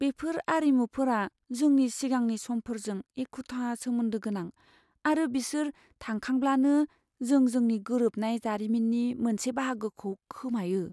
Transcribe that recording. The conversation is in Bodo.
बेफोर आरिमुफोरा जोंनि सिगांनि समफोरजों एखुथा सोमोन्दो गोनां, आरो बिसोर थांखांब्लानो जों जोंनि गोरोबनाय जारिमिननि मोनसे बाहागोखौ खोमायो।